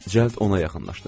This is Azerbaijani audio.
Cəld ona yaxınlaşdım.